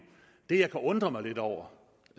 det jeg kan undre mig lidt over